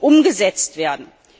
umgesetzt werden.